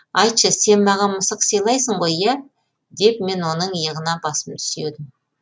айтшы сен маған мысық сыйлайсың ғой иә деп мен оның иығына басымды сүйедім